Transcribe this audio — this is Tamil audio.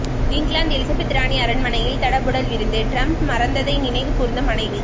இங்கிலாந்து எலிசபெத் ராணி அரண்மனையில் தடபுடல் விருந்து டிரம்ப் மறந்ததை நினைவு கூர்ந்த மனைவி